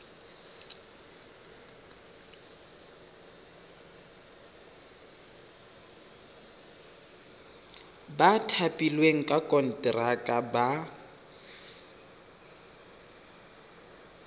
ba thapilweng ka konteraka ba